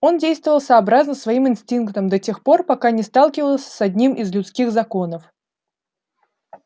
он действовал сообразно своим инстинктам до тех пор пока не сталкивался с одним из людских законов